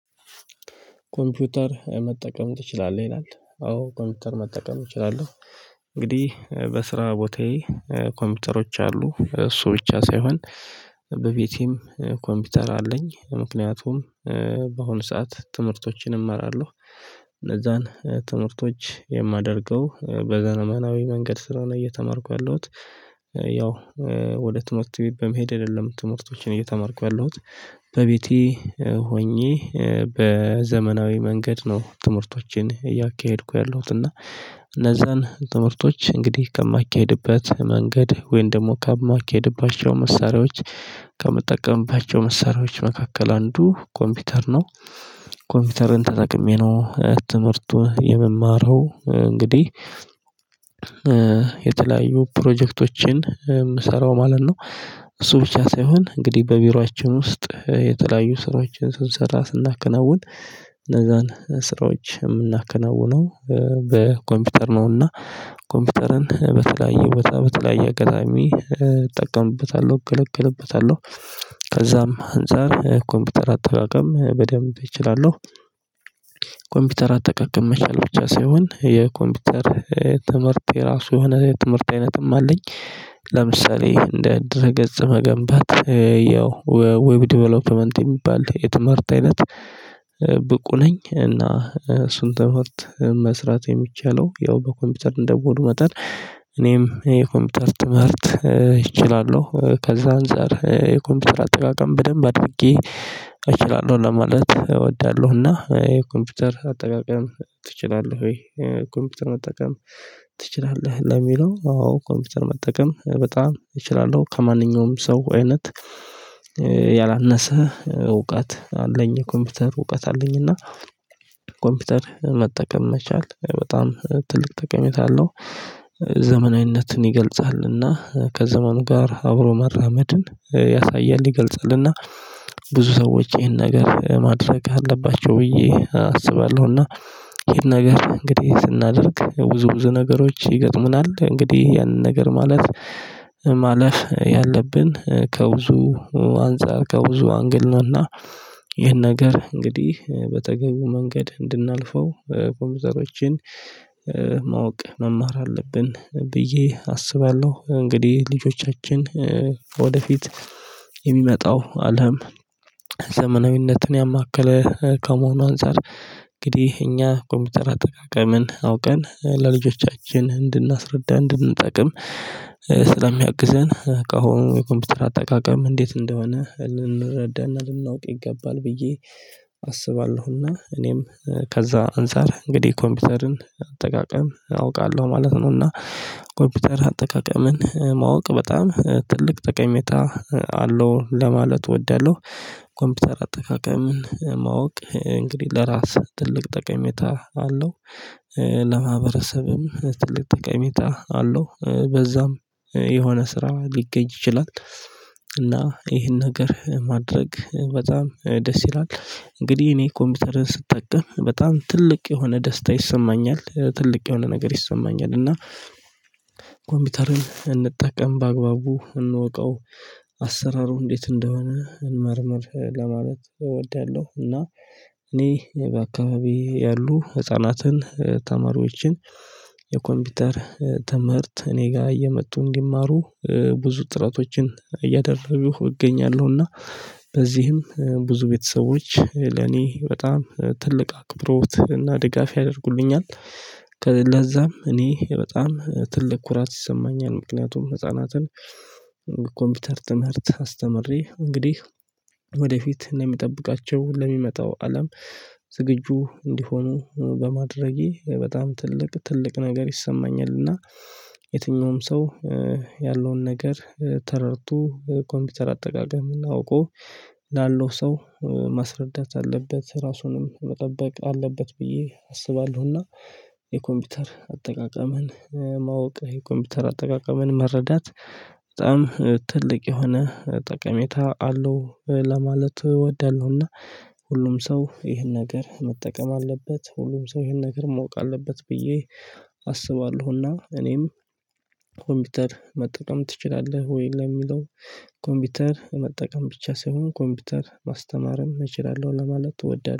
ኮምፒውተር መጠቀም ትችላለህ ይላል አዎ ኮምፒውተር መጠቀም እችላለሁ። እንግዲህ በስራ ቦታዬ ኮምፒውተሮች አሉ እሱ ብቻ ሳይሆን በቤቴም ኮምፒውተር አለኝ ምክንያቱም በአሁኑ ሰዓት ትምህርቶችን እመራለሁ። እነዛን ትምህርቶች የማደርገው በዘመናዊ መንገድ ስለሆነ እየተማርኩ ያለሁት ያው ወደ ትምህርት በመሄድ አይደለም ትምህርቶችን እየተማርኩ ያለሁት በቤቴ ሆኜ በዘመናዊ መንገድ ነው። ትምህርቶችን እያካሄድኩ ያለሁት እና እነዛን ትምህርቶች እንግዲህ ከማካሂድበት መንገድ ወይም ደግሞ ከማኬድባቸው መሳሪያዎች ከምጠቀምባቸው መሳሪያዎች መካከል አንዱ ኮምፒውተር ነው። ኮምፒውተርን ተጠቅሜ ነው ትምህርቱን የምማረው እንግዲህ የተለያዩ ፕሮጀክቶችን የምሰራው ማለት ነው። እሱ ብቻ ሳይሆን እንግዲህ በቢሮአችን ውስጥ የተለያዩ ስራዎችን ስንሰራ ስናከናውን እነዛን ስራዎች የምናከናውነው በኮምፒውተር ነውና። ኮምፒውተርን በተለያየ ቦታ በተለያየ አጋጣሚ እጠቀምበታለሁ እገለገልበታለሁ። ከዛም አንፃር ኮምፒውተር አተራቀም በደንብ እችላለሁ። ኮምፒውተር አጠቃቀም መቻል ብቻ ሳይሆን የኮምፒውተር ትምህርት የራሱ የሆነ ትምህርት አይነትም አለኝ። ለምሳሌ እንደ ድረ ገጽ መገንባት ያው ዌብ ዴቨሎፕመንት የሚባል የትምህርት አይነት። ብቁ ነኝ እና እሱን ትምህርት መስራት የሚቻለው ያው በኮምፒውተር እንደመሆኑ መጠን እኔም የኮምፒውተር ትምህርት እችላለሁ። ከዛ አንፃር የኮምፒውተር አጠቃቀም በደንብ አጥብቄ እችላለሁ ለማለት እወዳለሁ። እና የኮምፒውተር አጠቃቀም ትችላለህ ወይ? ኮምፒውተር መጠቀም ትችላለህ ለሚለው አዎ ኮምፒውተር መጠቀም በጣም እችላለሁ። ከማንኛውም ሰው አይነት ያላነሰ እውቀት አለኝ የኮምፒውተር እውቀት አለኝ እና ኮምፒውተር መጠቀም መቻል በጣም ትልቅ ጠቀሜታ አለው። ዘመናዊነትን ይገልጻልና ከዘመኑ ጋር አብሮ መራመድን ያሳያል ይገልጻልና ብዙ ሰዎች ይሄን ነገር ማድረግ አለባቸው ብዬ አስባለሁና። ይሄን ነገር እንግዲህ ስናደርግ ብዙ ብዙ ነገሮች ይገጥሙናል እንግዲህ ያንን ነገር ማለት ማለፍ ያለብን ከብዙ አንፃር ከብዙ አንግል ነውና። ይህን ነገር እንግዲህ በተገቢው መንገድ እንድናልፈው ኮምፒውተሮችን ማወቅ መማር አለብን ብዬ አስባለሁ። እንግዲህ ልጆቻችን ወደፊት የሚመጣው አለም ዘመናዊነትን ያማከለ ከመሆኑ አንፃር እንግዲህ እኛ ኮምፒውተር አጠቃቀምን አውቀን ለልጆቻችን እንድናስረዳ እንድንጠቅም ስለሚያግዘን ካሁኑ የኮምፒውተር አጠቃቀም እንዴት እንደሆነ ልንረዳና ልናውቅ ይገባል ብዬ አስባለሁና። እኔም ከዛ አንፃር እንግዲህ ኮምፒውተርን አጠቃቀም አውቃለሁ ማለት ነው። እና ኮምፒውተር አጠቃቀምን ማወቅ በጣም ትልቅ ጠቀሜታ አለው ለማለት እወዳለሁ። ኮምፒውተር አጠቃቀምን ማወቅ እንግዲህ ለራስህ ትልቅ ጠቀሜታ አለው። ለማህበረሰብም ትልቅ ቀሚታ አለው በዛም የሆነ ስራ ሊገጅ ይችላል። እና ይሄን ነገር ማድረግ በጣም ደስ ይላል እንግዲህ እኔ ኮምፒውተርን ስትጠቀም በጣም ትልቅ የሆነ ደስታ ይሰማኛል። ትልቅ የሆነ ነገር ይሰማኛል እና ኮምፒውተርን እንጠቀም በአግባቡ እንወቀው አሰራሩ እንዴት እንደሆነ እንመርምር ለማለት እወዳለሁ። እና እኔ በአካባቢ ያሉ ህፃናትን ተማሪዎችን የኮምፒውተር ተምህርት እኔ ጋር እየመጡ እንዲማሩ ብዙ ጥረቶችን እያደረኩ እገኛለሁና። በዚህም ብዙ ቤተሰቦች ለኔ በጣም ትልቅ አክብሮት እና ድጋፍ ያደርጉልኛል። ለዛም እኔ በጣም ትልቅ ኩራት ይሰማኛል ምክንያቱም ህፃናትን ኮምፒውተር ትምህርት አስተምሬ እንግዲህ ወደፊት እንደምጠብቃቸው ለሚመጣው አለም ዝግጁ እንዲሆኑ በማድረጌ በጣም ትልቅ ትልቅ ነገር ይሰማኛል እና የትኛውም ሰው ያለውን ነገር ተረድቶ ኮምፒውተር አጠቃቀም አውቆ ላለው ሰው ማስረዳት አለበት ራሱንም መጠበቅ አለበት ብዬ አስባለሁና። የኮምፒውተር አጠቃቀምን ማወቅ የኮምፒውተር አጠቃቀምን መረዳት በጣም ትልቅ የሆነ ጠቀሜታ አለው ለማለት እወዳለሁና። ሁሉም ሰው ይሄን ነገር መጠቀም አለበት ሁሉም ሰው ይሄን ነገር ማውቅ አለበት ብዬ አስባለሁና። እኔም ኮምፒውተር መጥተህም ትችላለህ ወይ ለሚለው? ኮምፒውተር መጠቀም ብቻ ሳይሆን ኮምፒውተር ማስተማርም እችላለሁ ለማለት እወዳለሁ